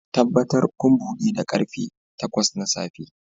Tabbatar kun buɗe da karfe takwas na safe